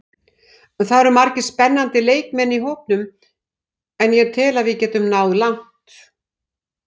Það eru margir spennandi leikmenn í hópnum og ég tel að við getum náð langt.